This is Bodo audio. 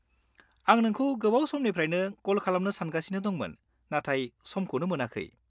-आं नोंखौ गोबाव समनिफ्रायनो कल खालामनो सानगासिनो दंमोन नाथाय समखौनो मोनाखै।